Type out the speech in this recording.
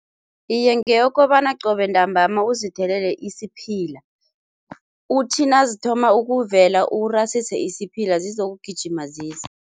Iye, ngeyokobana qobe ntambama uzithelele isiphila. Uthi nazithoma ukuvela, urasise isiphila, zizokugijima zize.